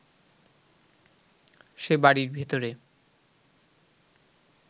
সে বাড়ির ভেতরে